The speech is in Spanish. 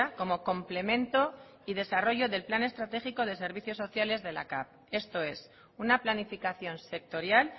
como complemento y desarrollo del plan estratégico de servicios sociales de la cav esto es una planificación sectorial